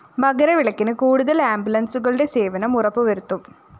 മകരവിളക്കിന് കൂടുതല്‍ ആംബുലന്‍സുകളുടെ സേവനം ഉറപ്പുവരുത്തും